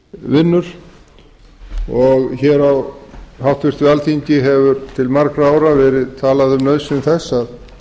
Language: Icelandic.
vinnur og hér á háttvirtu alþingi hefur til margra ára verið talað um nauðsyn þess að